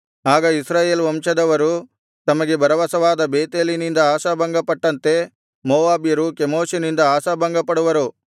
ಆಗ ಇಸ್ರಾಯೇಲ್ ವಂಶದವರು ತಮಗೆ ಭರವಸವಾದ ಬೇತೇಲಿನಿಂದ ಆಶಾಭಂಗಪಟ್ಟಂತೆ ಮೋವಾಬ್ಯರು ಕೆಮೋಷಿನಿಂದ ಆಶಾಭಂಗಪಡುವರು